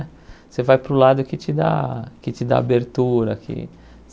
Você vai para o lado que te dá que te dá abertura. Que